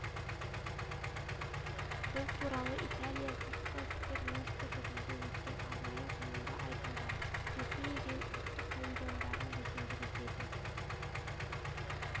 бұл туралы италия сыртқы істер министрлігінде өткен арнайы жиында айтылды ресми рим ұлттық павильондарын безендіруге де